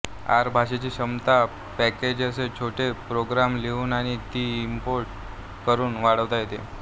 R भाषेची क्षमता packages छोटे प्रोग्रॅम लिहून आणि ती इम्पोर्ट करून वाढवता येते